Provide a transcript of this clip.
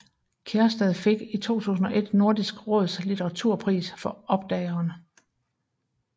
Kjærstad fik i 2001 Nordisk råds litteraturpris for Oppdageren